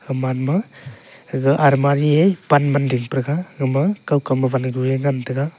gaman ma aga almari he pan ma dingpa ga aga ma kao kam wan e kua ngan taga.